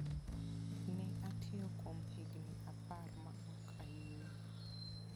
Ne atiyo kuom higini apar ma ok ayweyo.